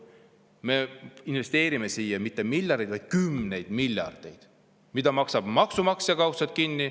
Me investeerime siia mitte miljardeid, vaid kümneid miljardeid, mille maksab kaudselt kinni maksumaksja.